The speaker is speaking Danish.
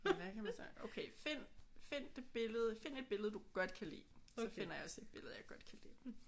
Hvad kan man snakke om? Okay find find det billede find et billede du godt kan lide. Så finder jeg også et billede jeg godt kan lide